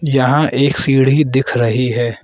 यहां एक सीढ़ी दिख रही है।